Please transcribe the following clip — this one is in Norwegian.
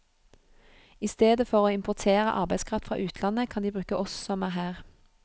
I stedet for å importere arbeidskraft fra utlandet, kan de bruke oss som er her.